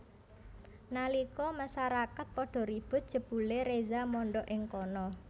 Nalika masarakat padha ribut jebulé Reza mondhok ing kana